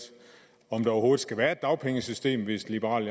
om der overhovedet skal være et dagpengesystem hvis liberal